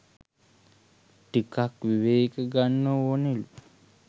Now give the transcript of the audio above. ටිකක් විවේක ගන්න ඕනෙලු